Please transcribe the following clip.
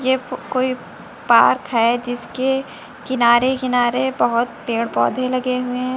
ये कोई पार्क है जिसके किनारे किनारे बहोत पेड़ पौधे लगे हुए हैं।